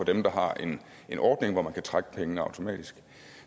dem der har en ordning hvor man kan trække pengene automatisk